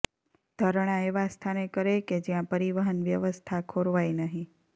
ધરણા એવા સ્થાને કરે કે જ્યાં પરિવહન વ્યવસ્થા ખોરવાય નહીં